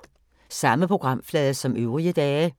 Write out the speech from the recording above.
Samme programflade som øvrige dage